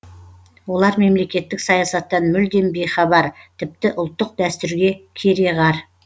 олар мемлекеттік саясаттан мүлдем бейхабар тіпті ұлттық дәстүрге кереғар